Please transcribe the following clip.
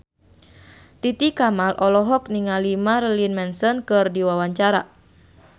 Titi Kamal olohok ningali Marilyn Manson keur diwawancara